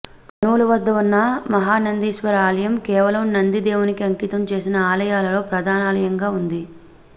కర్నూలు వద్ద ఉన్న మహానందీశ్వర ఆలయం కేవలం నంది దేవునికి అంకితం చేసిన ఆలయాలలో ప్రధానాలయంగా ఉంది